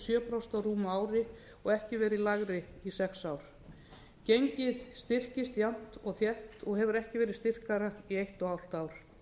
prósent á rúmu ári og ekki verið lægri í sex ár gengið styrkst jafnt og þétt og hefur ekki verið styrkara í einu hálft ár